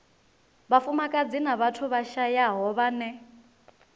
vhafumakadzi na vhathu vhashayaho vhane